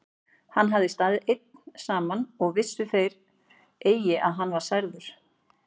Hann hafði staðið einn saman og vissu þeir eigi að hann var særður.